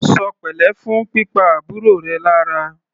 Ṣọ pẹ̀lẹ́ fún pípa àbúrò rẹ lára!